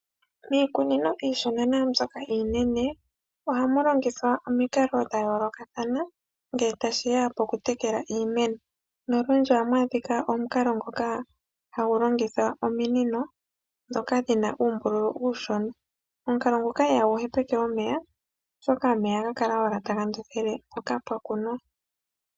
Miikunino iishona naa mbyoka iinene ohamu longithwa omikalo dha yoolokathana ngele tashi ya pokutekela iimeno. Nolundji ohamu adhika omukalo ngoka hagu longitha ominino ndhoka dhi na uumbululu uushona. Omukalo ngoka ihagu hepeke omeya, oshoka omeya ohaga kala owala taga ndothele mpoka pwa kunwa.